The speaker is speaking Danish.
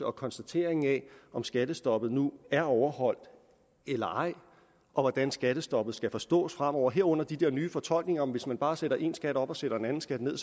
og konstateringen af om skattestoppet nu er overholdt eller ej og hvordan skattestoppet skal forstås fremover herunder de der nye fortolkninger om at hvis man bare sætter én skat op og sætter en anden skat ned